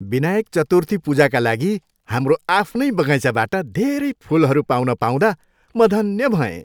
विनायक चतुर्थी पूजाका लागि हाम्रो आफ्नै बगैँचाबाट धेरै फुलहरू पाउन पाउँदा म धन्य भएँ।